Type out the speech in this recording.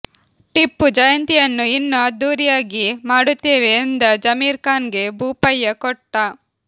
ಟಿಪ್ಪು ಜಯಂತಿಯನ್ನು ಇನ್ನೂ ಅದ್ದೂರಿಯಾಗಿ ಮಾಡುತ್ತೇವೆ ಎಂದ ಜಮೀರ್ ಖಾನ್ ಗೆ ಭೋಪಯ್ಯ ಕೊಟ್ಟ